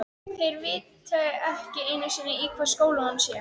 Þeir viti ekki einu sinni í hvaða skóla hún sé.